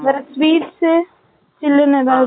வேற sweets , ஜில்லுன்னு ஏதாவது